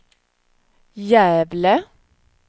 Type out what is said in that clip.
Gävle